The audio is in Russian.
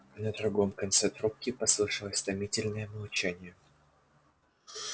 на другом конце трубки послышалось томительное молчание